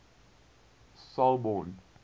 selborne